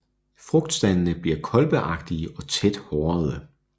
Frugtstandene bliver kolbeagtige og tæt hårede